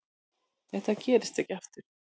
Þetta gerist ekki aftur.